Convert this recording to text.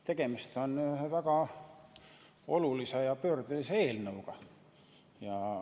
Tegemist on väga olulise ja pöördelise eelnõuga.